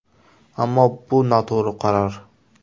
Ammo, bu noto‘g‘ri qaror.